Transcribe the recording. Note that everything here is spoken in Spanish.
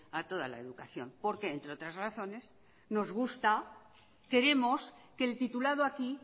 a toda la educación porque entre otras razones nos gusta queremos que el titulado aquí